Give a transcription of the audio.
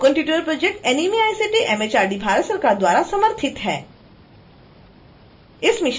spoken tutorial project nmeict mhrd Bharat सरकार द्वारा समर्थित है